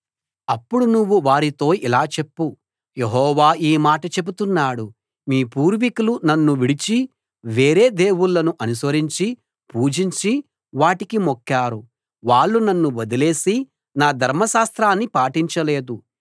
అప్పుడు నువ్వు వారితో ఇలా చెప్పు యెహోవా ఈ మాట చెబుతున్నాడు మీ పూర్వీకులు నన్ను విడిచి వేరే దేవుళ్ళను అనుసరించి పూజించి వాటికి మొక్కారు వాళ్ళు నన్ను వదిలేసి నా ధర్మశాస్త్రాన్ని పాటించలేదు